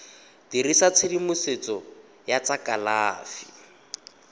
dirisa tshedimosetso ya tsa kalafi